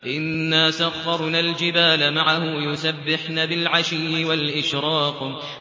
إِنَّا سَخَّرْنَا الْجِبَالَ مَعَهُ يُسَبِّحْنَ بِالْعَشِيِّ وَالْإِشْرَاقِ